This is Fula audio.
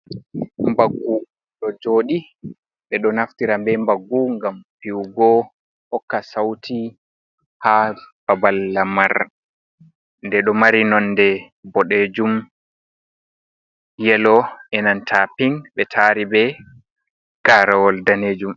Mbaggu ɗo jodi be do naftira be Mbaggu ngam fiwugo hokka sauti haa babal lamar nde do mari nonde bodejum yelo enanta ping be tari be garawol danejum.